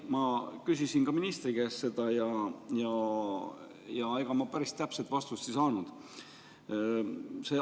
Ma küsisin ka ministri käest seda ja ega ma päris täpset vastust ei saanud.